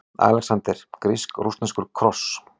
ALEXANDER: Grísk-rússneskur kross!